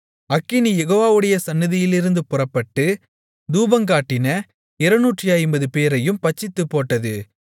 அக்கினி யெகோவாவுடைய சந்நிதியிலிருந்து புறப்பட்டு தூபங்காட்டின 250 பேரையும் பட்சித்துப் போட்டது